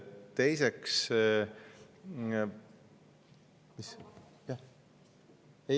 Teiseks, jah ...